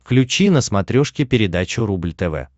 включи на смотрешке передачу рубль тв